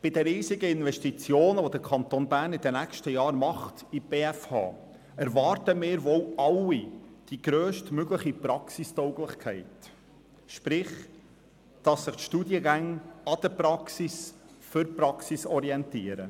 Bei den riesigen Investitionen, die der Kanton Bern in den nächsten Jahren in die BFH tätigt, erwarten wir wohl alle die grösstmögliche Praxistauglichkeit, sprich, wir erwarten, dass sich die Studiengänge an der Praxis orientieren und für die Praxis sind.